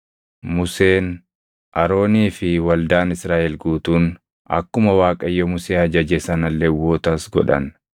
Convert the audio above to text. Museen, Aroonii fi waldaan Israaʼel guutuun akkuma Waaqayyo Musee ajaje sana Lewwotas godhan.